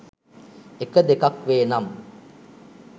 එක, දෙකක් වේ නම්